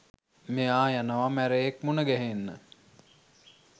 මෙයා යනවා මැරයෙක් මුනගැහෙන්න.